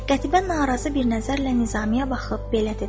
Qətibə narazı bir nəzərlə Nizamiye baxıb belə dedi: